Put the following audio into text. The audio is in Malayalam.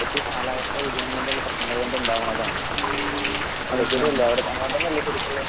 ഇതൊക്കെ കാലാവസ്ഥാവ്യതിയാനം കൊണ്ടുള്ള പ്രശ്നങ്ങൾ കൊണ്ട് ഉണ്ടാവുന്നതാണ്. . അങ്ങനെ തന്നെയല്ലേ ശരിക്കുമുള്ളത്?